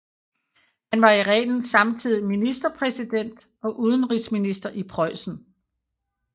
Han var i reglen samtidig ministerpræsident og udenrigsminister i Preussen